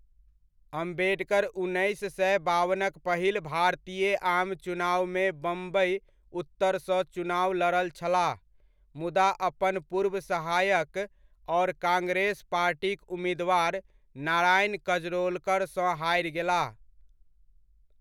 अम्बेडकर उन्नैस सए बावनक पहिल भारतीय आम चुनावमे बम्बइ उत्तरसँ चुनाव लड़ल छलाह मुदा अपन पूर्व सहायक आओर कांग्रेस पार्टीक उम्मीदवार नारायण कजरोलकरसँ हारि गेलाह।